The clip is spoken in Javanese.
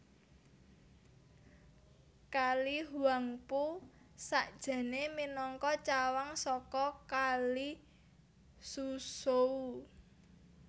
Kali Huangpu sakjané minangka cawang saka Kali Suzhou